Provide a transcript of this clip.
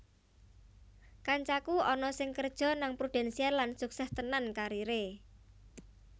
Kancaku ana sing kerjo nang Prudential lan sukses tenan karir e